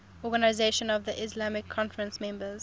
organisation of the islamic conference members